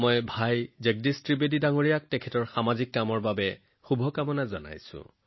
ভাই জগদীশ ত্ৰিবেদীজীৰ সামাজিক কামৰ বাবে শুভকামনা জনাইছো